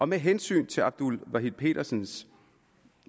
med hensyn til abdul wahid petersens